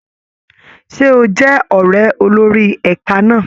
Ṣé o jẹ́ ọ̀ré olórí ẹ̀ka náà?